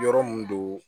Yɔrɔ mun do